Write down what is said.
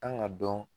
Kan ka dɔn